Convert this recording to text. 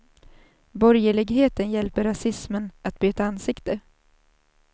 Borgerligheten hjälper rasismen att byta ansikte.